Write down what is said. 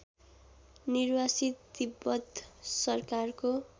निर्वासित तिब्बत सरकारको